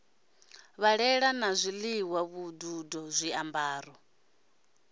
ṱhahelelo ya zwiḽiwa vhududo zwiambaro